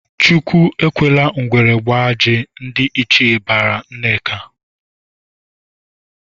"Chukwu ekwela ngwere gbaa ajị!" Ndị ichie barala Nneka.